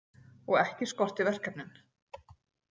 Og ekki skorti verkefnin.